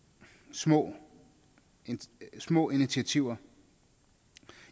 små små initiativer